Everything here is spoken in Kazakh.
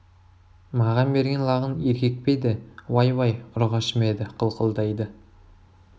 маған берген лағың еркек пе еді уай уай ұрғашы ма еді қылқылдайды